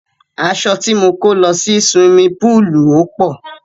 Aṣọ ti mo kó lọ sí suwimi póòlù ò pọ̀.